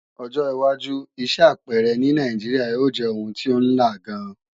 Ọjọ́wájú iṣẹ́ apẹẹrẹ ní Nàìjíríà ó jẹ́ oun tí ó ńla gan